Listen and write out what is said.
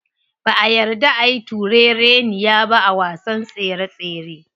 Ba'a yarda ayi turereniya ba a wasan tsere tsere.